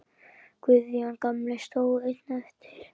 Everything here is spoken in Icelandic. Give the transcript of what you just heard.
Guðjón gamli stóð einn eftir.